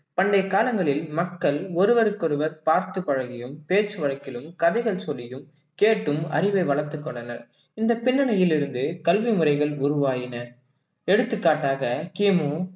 பண்டைய காலங்களில் மக்கள் ஒருவருக்கொருவர் பார்த்து பழகியும் பேச்சு வழக்கிலும் கதைகள் சொல்லியும் கேட்டும் அறிவை வளர்த்துக் கொண்டனர் இந்த பின்னணியில் இருந்து, கல்வி முறைகள் உருவாகின எடுத்துக்காட்டாக கிமு